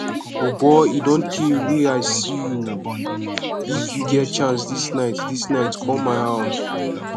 o boy e don tey wey we see oo if you get chance dis night dis night come my house